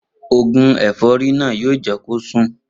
Oògùn è̩fó̩rí náà yóò jé̩ kí ó sùn